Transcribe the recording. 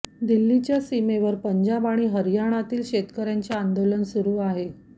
दिल्लीच्या सीमेवर पंजाब आणि हरयाणातील शेतकऱ्यांचे आंदोलन सुरू आहे